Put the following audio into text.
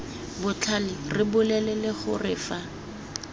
botlhale re bolelele gore fa